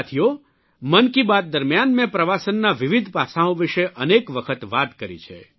સાથીઓ મનકી બાત દરમ્યાન મેં પ્રવાસનના વિવિધ પાસાંઓ વિષે અનેક વખત વાત કરી છે